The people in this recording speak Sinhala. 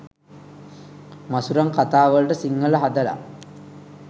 මසුරං කතාවලට සිංහල හදල